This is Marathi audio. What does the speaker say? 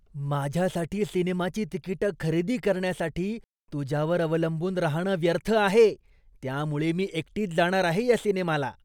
माझ्यासाठी सिनेमाची तिकिटं खरेदी करण्यासाठी तुझ्यावर अवलंबून राहणं व्यर्थ आहे, त्यामुळे मी एकटीच जाणार आहे या सिनेमाला.